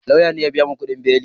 Lauya ne ya biya mun kudin beli